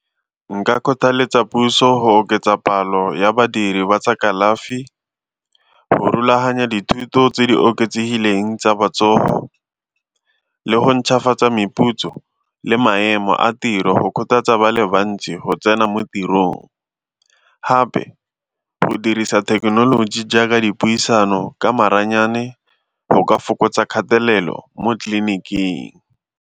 Nka kgothaletsa puso go oketsa palo ya badiri ba tsa kalafi, go rulaganya dithuto tse di oketsegileng tsa botsogo le go ntšhafatsa meputso le maemo a tiro kgothatsa ba le bantsi go tsena mo tirong, gape go dirisa thekenoloji jaaka dipuisano ka maranyane go ka fokotsa kgatelelo mo tleliniking.